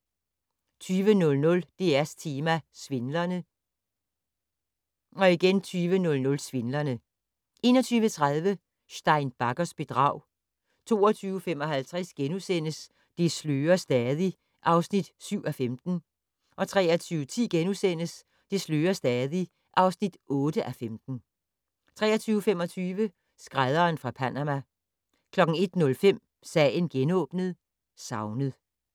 20:00: DR2 Tema: Svindlerne 20:00: Svindlerne 21:30: Stein Baggers bedrag 22:55: Det slører stadig (7:15)* 23:10: Det slører stadig (8:15)* 23:25: Skrædderen fra Panama 01:05: Sagen genåbnet: Savnet